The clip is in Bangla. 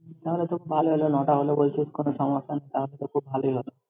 তাহলে তো খুব ভালোই হলো ন'টা হলেও বলছিস কোনো সমস্যা নেই, তাহলে তো খুব ভালোই হলো।